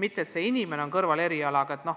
Viipekeeletõlk ei piirdu pelgalt kõrvalerialaga, ta